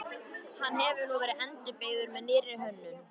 Hann hefur nú verið endurbyggður með nýrri hönnun.